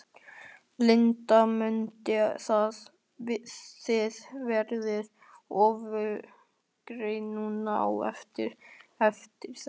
Linda: Munið þið verða öflugri núna á eftir, eftir þetta?